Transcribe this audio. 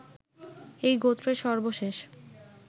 এই গোত্রের সর্বশেষ